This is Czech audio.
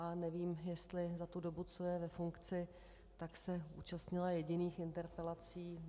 A nevím, jestli za tu dobu, co je ve funkci, tak se účastnila jediných interpelací.